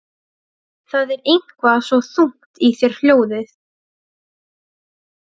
Það er eitthvað svo þungt í þér hljóðið.